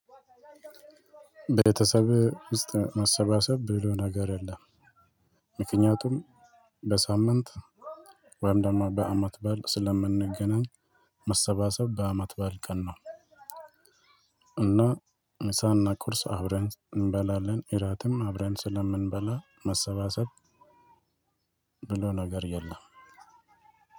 ቤተሰብ ውስጥ ማሰባሰብ ብሎ ነገር የለም ምክንያቱም በሳምንት ወይም ደግሞ በአመት በዓል ስለምንገናኝ መሰባሰብ በአመት በዓል ቀን ነው። እና ምሳና ቁርስ አብረን እንበላለን እራትም አብረን ስለምንበላ መሰባሰብ። ብሎ ነገር የለም።